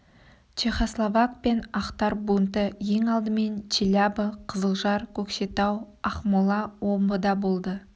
чехословак пен ақтар бунты ең алдымен челябі қызылжар көкшетау ақмола омбыда болды